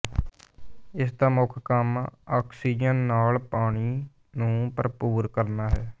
ਇਸ ਦਾ ਮੁੱਖ ਕੰਮ ਆਕਸੀਜਨ ਨਾਲ ਪਾਣੀ ਨੂੰ ਭਰਪੂਰ ਕਰਨਾ ਹੈ